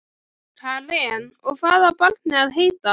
Karen: Og hvað á barnið að heita?